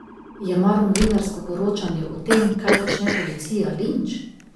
Je mar novinarsko poročanje o tem, kaj počne policija, linč?